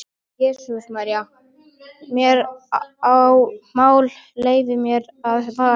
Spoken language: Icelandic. Jesús María, mér er mál, leyfið mér að fara.